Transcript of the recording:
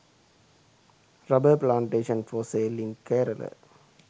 rubber plantation for sale in kerala